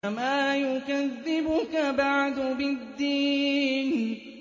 فَمَا يُكَذِّبُكَ بَعْدُ بِالدِّينِ